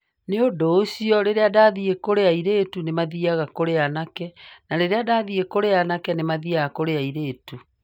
Nĩ ũndũ ũcio, rĩrĩa ndathiĩ kũrĩ airĩtu nĩ maathiaga kũrĩ anake, na rĩrĩa ndathiĩ kũrĩ anake nĩ maathiaga kũrĩ airĩtu".